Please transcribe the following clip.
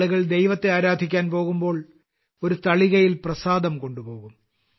ആളുകൾ ദൈവത്തെ ആരാധിക്കാൻ പോകുമ്പോൾ ഒരു തളികയിൽ പ്രസാദം കൊണ്ടുപോകും